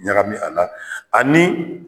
Ɲagami a la ani